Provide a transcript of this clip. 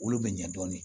Olu bɛ ɲa dɔɔni